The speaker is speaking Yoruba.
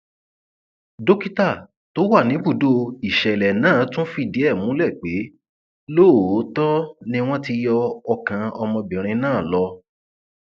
dókítà tó wà níbùdó ìṣẹlẹ náà tún fìdí ẹ múlẹ pé lóòótọ ni wọn ti yọ ọkàn ọmọbìnrin náà lọ